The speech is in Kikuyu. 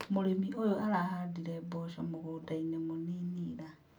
Mũrĩmi ũyũ arahandire mboco mũgũnda-inĩ mũnini ira